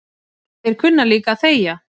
Þeir kunna líka að þegja